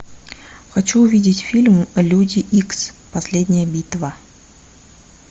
хочу увидеть фильм люди икс последняя битва